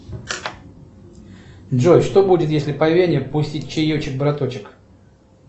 джой что будет если по вене пустить чаечек браточек